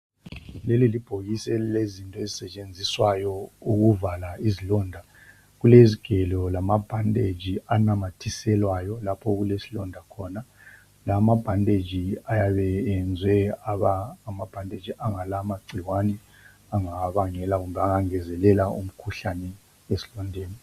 Leli libhokisi elilezinto ezisetshenziswayo ukuvala izilonda, kulezigelo lamabhandetshi anamathiselwayo lapha okulesilonda khona. La mabhandetshi ayabe eyezwe waba ngamabhandetshi angala mangcikwane angabangela kumbe angengezelela umkhuhlane esilondeni.